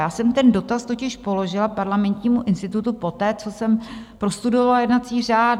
Já jsem ten dotaz totiž položila Parlamentnímu institutu poté, co jsem prostudovala jednací řád.